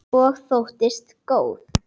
Og þóttist góð.